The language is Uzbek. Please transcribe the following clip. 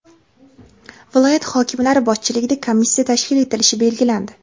viloyat hokimlari boshchiligida komissiya tashkil etilishi belgilandi.